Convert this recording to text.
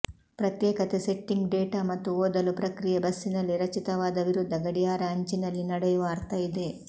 ಪ್ರತ್ಯೇಕತೆ setting data ಮತ್ತು ಓದಲು ಪ್ರಕ್ರಿಯೆ ಬಸ್ಸಿನಲ್ಲಿ ರಚಿತವಾದ ವಿರುದ್ಧ ಗಡಿಯಾರ ಅಂಚಿನಲ್ಲಿ ನಡೆಯುವ ಅರ್ಥ ಇದೆ